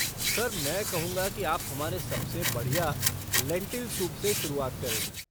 Sir, मैं कहूँगा कि आप हमारे सबसे बढ़िया लेंटिल सूप से शुरुआत करें।